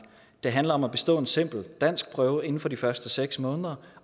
det handler om at bestå en simpel danskprøve inden for de første seks måneder